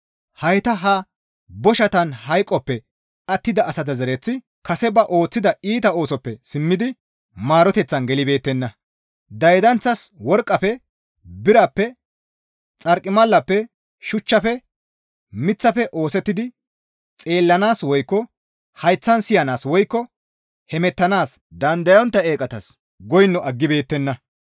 Hayta ha boshatan hayqoppe attida asa zereththati kase ba ooththida iita oosoppe simmidi maaroteththan gelibeettenna. Daydanththas worqqafe, birappe, xarqimalappe, shuchchafe, miththafe oosettidi xeellanaas woykko hayththan siyanaas woykko hemettanaas dandayontta eeqatas goyno aggibeettenna.